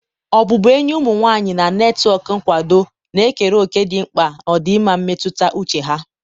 ọbụbụenyi ụmụ nwanyị na netwọk nkwado na-ekere òkè dị mkpa na ọdịmma mmetụta uche ha.